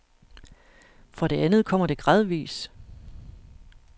For det andet kommer det gradvis.